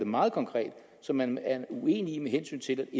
meget konkret som man er uenig i med hensyn til